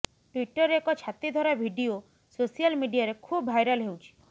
ଟ୍ବିଟରରେ ଏକ ଛାତିଥରା ଭିଡିଓ ସୋସିଆଲ ମିଡିଆରେ ଖୁବ୍ ଭାଇରାଲ ହେଉଛି